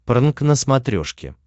прнк на смотрешке